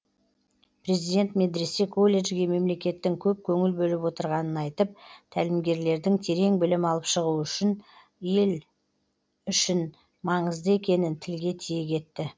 президент медресе колледжге мемлекеттің көп көңіл бөліп отырғанын айтып тәлімгерлердің терең білім алып шығуы ел үшін маңызды екенін тілге тиек етті